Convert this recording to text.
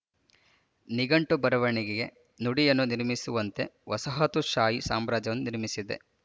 ನಿಘಂಟು ಬರವಣಿಗೆಗೆ ನುಡಿಯನ್ನು ನಿರ್ಮಿಸುವಂತೆ ವಸಾಹತುಶಾಹಿ ಸಾಮ್ರಾಜ್ಯವನ್ನು ನಿರ್ಮಿಸಿದೆ